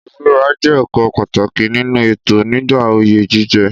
Ìbúra jẹ́ ọ̀kan pàtàkì nínú ètò nígbà oyè jíjẹ.